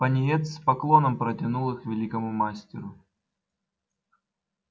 пониетс с поклоном протянул их великому мастеру